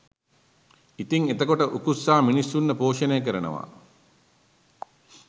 ඉතිං එතකොට උකුස්සා මිනිස්සුන්ව පෝෂණය කරනවා